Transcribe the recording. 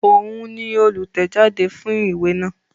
Òun ni olùtẹ̀jáde fún ìwé náà